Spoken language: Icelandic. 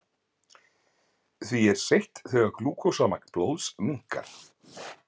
Því er seytt þegar glúkósamagn blóðs minnkar.